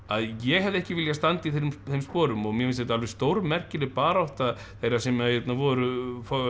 ég hefði ekki viljað standa í þeim þeim sporum og mér finnst þetta stórmerkileg barátta þeirra sem voru